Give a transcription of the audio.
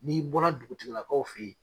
N'i bɔra dugutigilakaw f'ɛ yen.